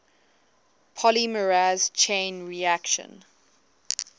polymerase chain reaction